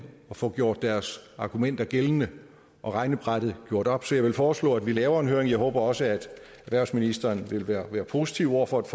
og få gjort deres argumenter gældende og regnebrættet gjort op så jeg vil foreslå at vi laver en høring jeg håber også at erhvervsministeren vil være positiv over for et